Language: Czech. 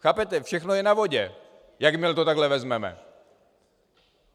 Chápete, všechno je na vodě, jakmile to takhle vezmeme.